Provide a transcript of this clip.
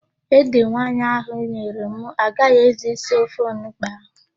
Ede nwaanyị ahụ nyere m agaghị ezu isi ofe onugbo ahụ.